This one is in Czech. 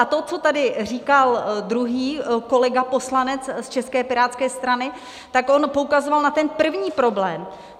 A to, co tady říkal druhý kolega poslanec z České pirátské strany, tak on poukazoval na ten první problém.